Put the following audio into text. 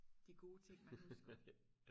de gode ting man husker